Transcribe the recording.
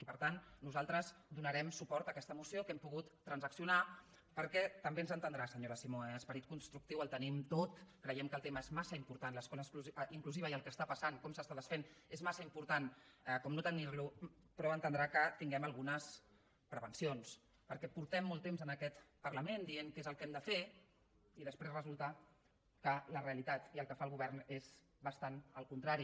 i per tant nosaltres donarem suport a aquesta moció que hem pogut transaccionar perquè també ens entendrà senyora simó esperit constructiu el tenim tot creiem que el tema és massa important l’escola inclusiva i el que està passant i com s’està desfent és massa important per no tenir lo però entendrà que tinguem algunes prevencions perquè portem molt temps en aquest parlament dient què és el que hem de fer i després resulta que la realitat i el que fa el govern és bastant el contrari